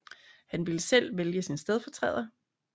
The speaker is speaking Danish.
Han ville selv vælge sin stedfortræder